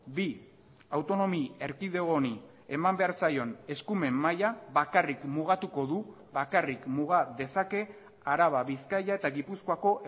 bi autonomi erkidego honi eman behar zaion eskumen mahia bakarrik mugatuko du bakarrik muga dezake araba bizkaia eta gipuzkoako